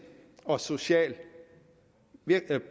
og social